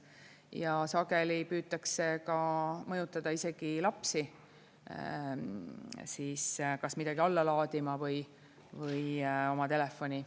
Ja sageli püütakse ka mõjutada isegi lapsi midagi alla laadima oma telefoni.